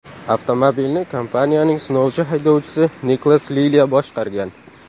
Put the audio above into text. Avtomobilni kompaniyaning sinovchi haydovchisi Niklas Lilya boshqargan.